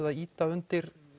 að ýta undir